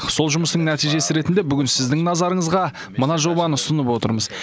сол жұмыстың нәтижесі ретінде бүгін сіздің назарыңызға мына жобаны ұсынып отырмыз